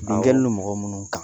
Nin dalen don mɔgɔ minnu kan